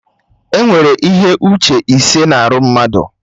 Enwere ihe uche ise na arụ mmadụ